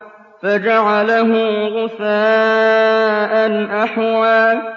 فَجَعَلَهُ غُثَاءً أَحْوَىٰ